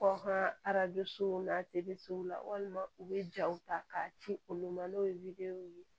Kɔkan arajosow na walima u bɛ jaw ta k'a ci olu ma n'o ye ye